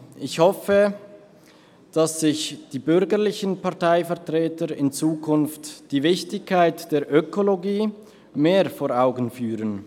Ich hoffe, dass sich die bürgerlichen Parteivertreter in Zukunft die Wichtigkeit der Ökologie mehr vor Augen führen.